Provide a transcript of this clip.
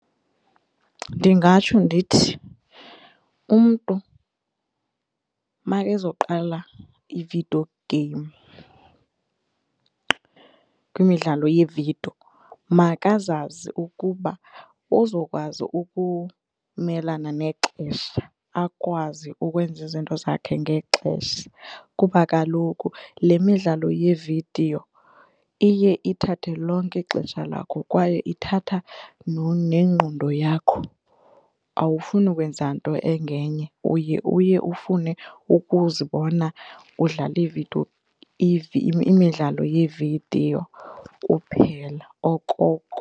Ndingatsho ndithi umntu makezoqala i-video game kwimidlalo yevidiyo makazazi ukuba uzokwazi ukumelana nexesha akwazi ukwenza izinto zakhe ngexesha kuba kaloku le midlalo yevidiyo iye ithathe lonke ixesha lakho kwaye ithatha nengqondo yakho awufuni kwenza nto engenye uye uye ufune ukuzibona udlale iividiyo, imidlalo yevidiyo kuphela okoko.